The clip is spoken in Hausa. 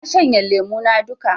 Na shanye lemo na duka